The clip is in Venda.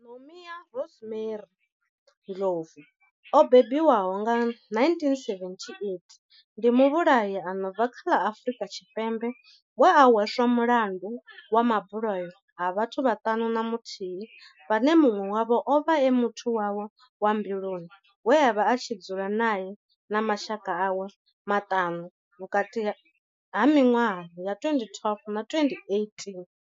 Nomia Rosemary Ndlovu o bebiwaho nga, 1978, ndi muvhulahi a no bva kha ḽa Afurika Tshipembe we a hweswa mulandu wa mabulayo a vhathu vhaṱanu na muthihi vhane munwe wavho ovha a muthu wawe wa mbiluni we avha a tshi dzula nae na mashaka awe maṱanu - vhukati ha minwaha ya 2012 na 2018.